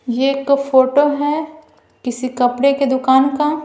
ये एक फोटो है किसी कपड़े के दुकान का--